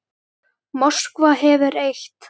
Moskva hefur eitt.